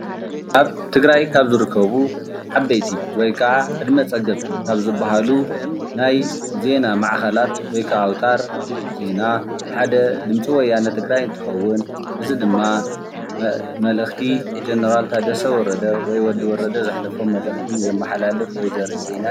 ኣብ ትግራይ ካብ ዝርከቡ ዓበይቲ ወይ ካዓ ዕድመ ፀገብ ካብ ዝበሃሉ ናይ ዜና ማእከላት ወይ ካዓ ኣውታር ዜና ሓደ ድምፂ ወያነ ትግራይ እንትኸዉን እዚ ድማ መልእኽቲ ጀነራል ታደሰ ወረደ ወይ ድማ ወዲ ወረደን ዘመሓላልፍ ወይ ዘርኢ ዜና እዩ፡፡